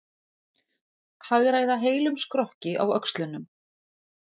Hagræða heilum skrokki á öxlunum.